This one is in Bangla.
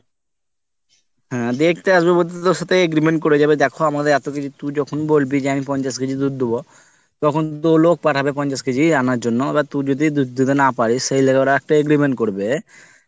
হ্যাঁ দেখতে আসবে বলতে তোর সাথে agreement করে যাবে দেখো আমাদের এতকিছু তুই যখন বলবি যে আমি পঞ্চাশ KG দুধ দুব তখন তো লোক পাঠাবে পঞ্চাশ KG আনার জন্য এরপর তুই যদি দুধ দিতে না পারিস সেই লেগে ওরা একটা agreement করবে